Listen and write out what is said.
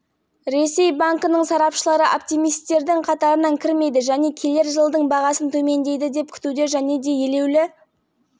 орта мерзімді перспективада біз іс жүзінде сондай көзқарас қалдырдық келісім жаңартылмаса келесі жылдың соңына дейін бағасы